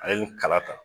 Ale ye nin kala